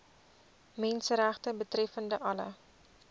menseregte betreffende alle